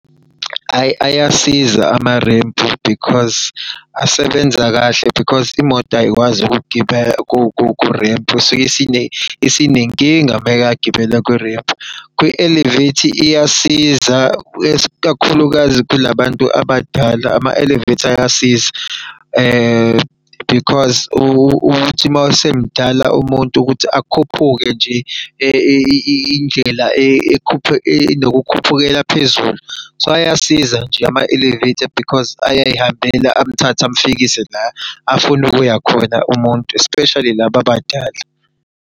Ayi ayasiza amarempu because asebenza kahle because imoto ayikwazi ukugibela kurempu isuke isinenkinga mayigibela kurempu. Kwi-elevator iyasiza kakhulukazi kula bantu abadala ama-elevator ayasiza because ukuthi uma esemdala umuntu ukuthi akhuphuke nje indlela enokukhuphukela phezulu. So, ayasiza nje ama-elevator because ayayihambela amthathe amfikise la afuna ukuya khona umuntu, especially laba abadala.